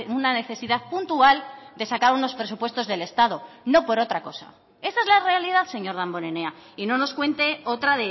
una necesidad puntual de sacar unos presupuestos del estado no por otra cosa esa es la realidad señor damborenea y no nos cuente otra